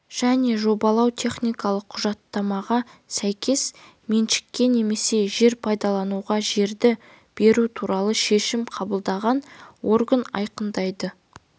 және жобалау-техникалық құжаттамаға сәйкес меншікке немесе жер пайдалануға жерді беру туралы шешім қабылдаған орган айқындайды